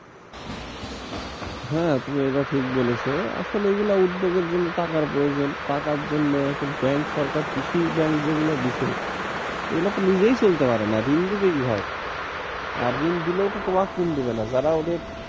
হ্যাঁ তুমি এটা ঠিক বলেছো আসলে এগুলা উদ্যোগের জন্য টাকার প্রয়োজন, টাকার জন্য এখন ব্যাংক সরকার কৃষি ব্যাংক যেগুলো দিছে এগুলো তো নিজেই চলতে পারে না ঋণ দেবে কিভাবে আর ঋণ দিলেও তো তোমার স্কিম দিবে না, যারা ওদের,